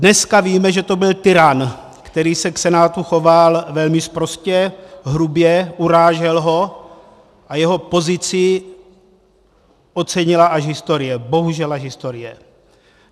Dneska víme, že to byl tyran, který se k senátu choval velmi sprostě, hrubě, urážel ho, a jeho pozici ocenila až historie, bohužel až historie.